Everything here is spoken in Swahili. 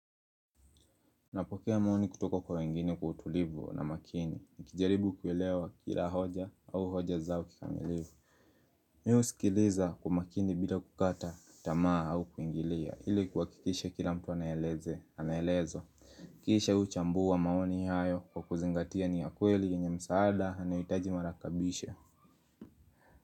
Napokea maoni kutoka kwa wengine kwa utulivu na makini. Nikijaribu kuelewa kila hoja au hoja zao kikamilifu. Mi husikiliza umakini bila kukata, tamaa au kuingilia. Ili kuhakikisha kila mtu anaeleze, anaelezo. Kisha huchambua maoni hayo kwa kuzingatia ni ya kweli yenye msaada anaohitaji marakebisho.